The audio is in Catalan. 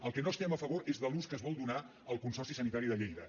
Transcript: del que no estem a favor és de l’ús que es vol donar al consorci sanitari de lleida